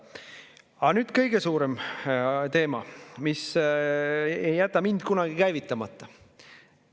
Aga nüüd kõige suurem teema, mis ei jäta mind kunagi käivitamata.